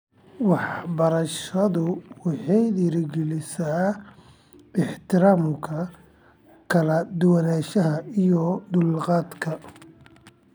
Waxbarashadu waxay dhiirigelisaa ixtiraamka kala duwanaanshaha iyo dulqaadka .